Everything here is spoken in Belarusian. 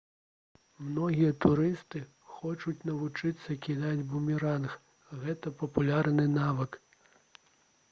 многія турысты хочуць навучыцца кідаць бумеранг гэта папулярны навык